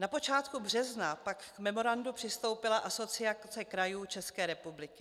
Na počátku března pak k memorandu přistoupila Asociace krajů České republiky.